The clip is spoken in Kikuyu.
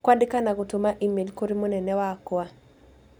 kwandĩka na gũtũma e-mail kũrĩ mũnene wakwa